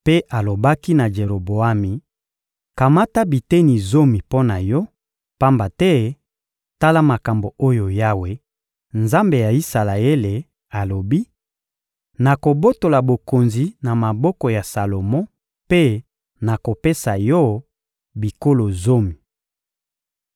mpe alobaki na Jeroboami: «Kamata biteni zomi mpo na yo, pamba te tala makambo oyo Yawe, Nzambe ya Isalaele, alobi: ‹Nakobotola bokonzi na maboko ya Salomo mpe nakopesa yo bikolo zomi.